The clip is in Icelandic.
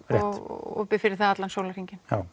og opið fyrir hann allan sólarhringinn já